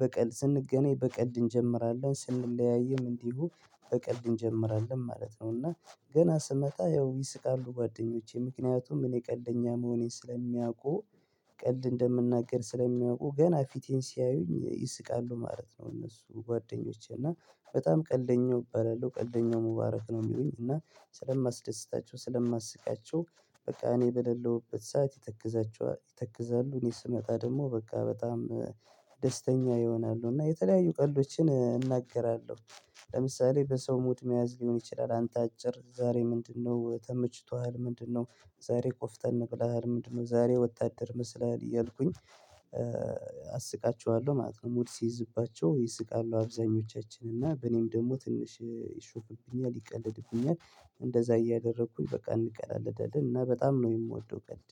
በቀልድ ስንገናኝ በቀልድ እንጀምራለን ስንለያይም እንዲህ በቀል እንጀምራለን ማለት ነው። እና ገና ስመታ ያው ይስቃሉ ጓደኞቼ ምክንያቱም እኔ ቀልደኛ መሆኔን ስለሚያውቁ። ቀልድ እንደምናገር ስለሚያውቁ ገና ፊቴን ሲያዩኝ ይስቃሉ ማለት ነው። እነሱ ጓደኞቼ እና በጣም ቀልደኛው እባላለሁ ቀልደኛው ሙባረክ ነው። የሚሉኝ እና ስለማስደስታቸው ስለማስቃቸው። በቃ እኔ በሌለሁበት ሰዓት ይተክዛቸዋል ይተክዛሉ እኔ ስመጣ ደግሞ በቃ በጣም ደስተኛ ይሆናሉ እና የተለያዩ ቀሎችን እናገራለሁ። ለምሳሌ በሰው ሙድ መያዝ ሊሆን ይችላል አንተ አጭር ዛሬ ምንድነው ተመችቷል ምንድነው? ዛሬ ቆፍጠን ነቅለሃል ምንድነው? ዛሬ ወታደር መስላል እያልኩኝ አስቃቸዋለሁ ማለት ነው። ሙሉ ሲይዝባቸው ይስቃሉ አብዛኞቻችን እና በኔም ደግሞ ትንሽ ይሾፍብኛል። እንደዛ እያደረኩኝ በቃ እንቀላለዳለን እና በጣም ነው የምወደው። ቀልድ